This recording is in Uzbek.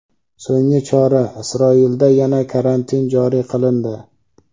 So‘nggi chora: Isroilda yana karantin joriy qilindi.